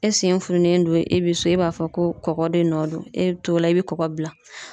E sen fununen don e bi so e b'a fɔ ko kɔkɔ de nɔ don e bi t'o la i bi kɔkɔ bila.